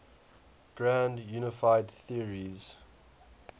grand unified theories